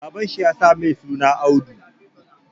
Baban shi ya sa mai suna Audu